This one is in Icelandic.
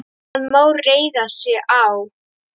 Hann má reiða sig á.